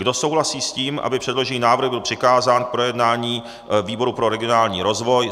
Kdo souhlasí s tím, aby předložený návrh byl přikázán k projednání výboru pro regionální rozvoj?